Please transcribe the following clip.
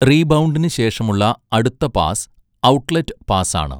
റീബൗണ്ടിനു ശേഷമുള്ള അടുത്ത pass outlet pass ആണ്.